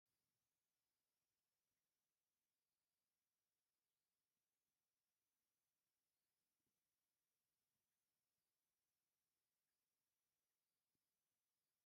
ካብ እምኒ ተፈልፊሉ ዝስራሕ መስቀልን ሓወልቲ ቅርፂ ዘለዎናይ ቁልፊ መስርሒ ከምኡውውን ክሪታት ኣሎ ። እዚ ቅርፅታት እዚ ኣብ ምንታይ ተቀሚጡ ኣሎ ?